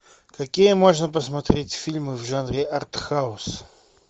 какие можно посмотреть фильмы в жанре артхаус